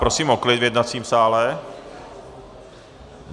Prosím o klid v jednacím sále!